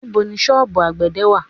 Ibo ni sọ́ọ̀bù àgbẹ̀dẹ̀ wà?